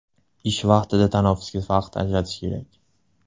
Ish vaqtida tanaffusga vaqt ajratish kerak.